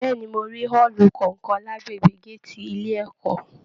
Bẹ̀ẹ́ni, mo rí ọọlú kánkán l'agbègbè gàátí ilé ẹ̀kọ́.